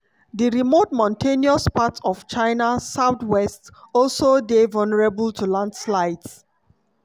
di remote mountainous parts of china south-west also dey vulnerable to landslides.